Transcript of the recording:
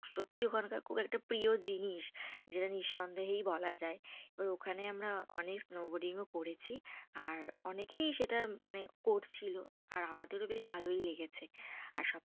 সত্যি ওখানকার খুব একটা প্রিয় জিনিস। যেটা নিঃসন্দেহেই বলা যায়। এবার ওখানে আমরা অনেক snowboarding ও করেছি। আর অনেকেই সেটা মানে করছিলো। আর আমাদেরও বেশ ভালই লেগেছে। আর সব